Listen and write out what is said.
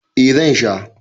eh zan. Sha